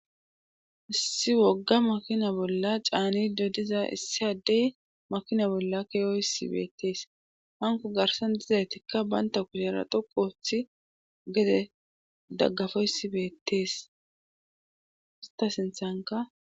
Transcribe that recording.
Issi wogga makina bolla caaniddo diza issi addey makina bolla keyoysi beettees hanko garsan dizaytikka baynta kushera dhoqu othi gede daggafoysi beetees hessakka